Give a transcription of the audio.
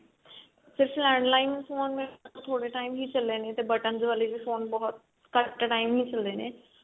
ਸਿਰਫ landline phone ਥੋੜੇ time ਲਈ ਚੱਲੇ ਨੇ ਤੇ buttons ਵਾਲੇ ਵੀ ਘੱਟ time ਹੀ ਚੱਲੇ ਨੇ